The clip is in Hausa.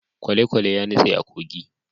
kwalekwale ya nutse a kogi